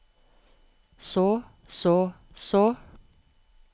så så så